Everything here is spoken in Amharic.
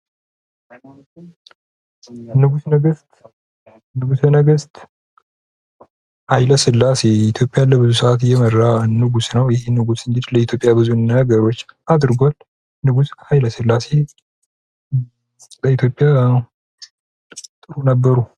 ንጉሰ ነገስት ንጉሰ ነገስት ሀይለ ስላሴ ኢትዮጵያን ለብዙ ሰአት የመራ ንጉስ ነው። ይህ ንጉስ ለኢትዮጵያ ብዙ ነገሮች አድርጓል። ንጉስ ሀይለ ስላሴ በኢትዮጵያ ጥሩ ነበሩ።